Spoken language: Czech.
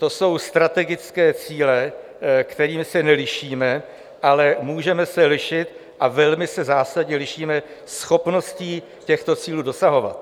To jsou strategické cíle, kterými se nelišíme, ale můžeme se lišit - a velmi se zásadně lišíme - schopností těchto cílů dosahovat.